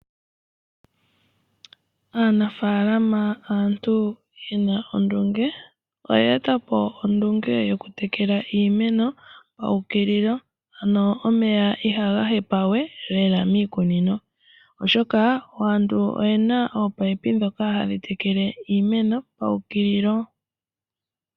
Aanafaalama aantu yena ondunge, ano oye eta ondunge yoku tekela iimeno paukililo, ano omeya iha ga hepa we lela miikunino, oshoka aantu oyena ominino ndhoka ha dhi tekele omeya iha gapepa we mikunino oha dhitekele iimeno paukililo.